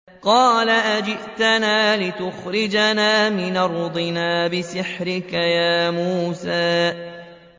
قَالَ أَجِئْتَنَا لِتُخْرِجَنَا مِنْ أَرْضِنَا بِسِحْرِكَ يَا مُوسَىٰ